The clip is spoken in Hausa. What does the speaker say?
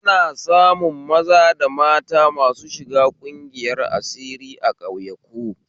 Ana samun maza da mata masu shiga ƙungiyar asiri a ƙauyayku